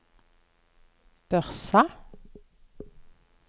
Børsa